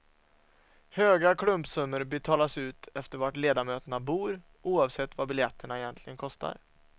Höga klumpsummor betalas ut efter var ledamöterna bor, oavsett vad biljetterna egentligen kostar.